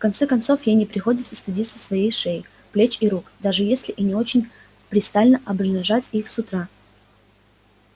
в конце концов ей не приходится стыдиться своей шеи плеч и рук даже если и не очень пристало обнажать их с утра